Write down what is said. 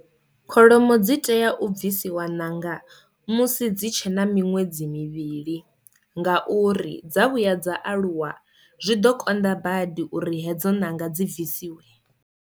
Kholomo dzi tea u bvisiwa ṋanga musi dzitshena miṅwedzi mivhili ngauri dza vhuya dza aluwa zwi ḓo konḓa badi uri hedzo ṋanga dzi bvisiwe.